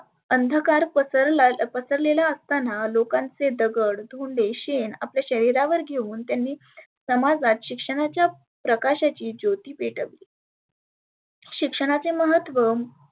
अंधकार पसरला पसरलेला असताना लोकांचे दगड, धोंडे, शेन आपल्या शरिरावर घेऊन समाजात शिक्षणाच्या प्रकाशाची ज्योती पेटवली. शिक्षणाचे महत्व